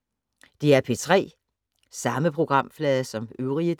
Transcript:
DR P3